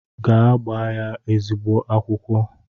Gaa gbaa ya eziogbe akwụkwọ!